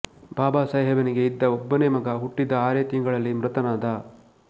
ಬಾಬಾಸಾಹೇಬನಿಗೆ ಇದ್ದ ಒಬ್ಬನೇ ಮಗ ಹುಟ್ಟಿದ ಆರೇ ತಿಂಗಳಲ್ಲಿ ಮೃತನಾದ